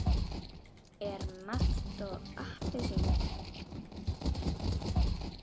En malt og appelsín?